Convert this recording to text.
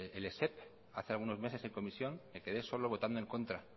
el esep hace algunos meses en comisión me quedé solo votando en contra